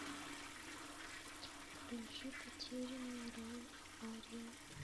включи потерянный рай ария